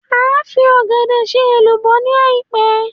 Màá fi Ọ̀gẹ̀dẹ̀ ṣe èlùbọ́ ni àìpẹ́